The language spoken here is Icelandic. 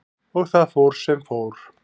Og það fór sem fór.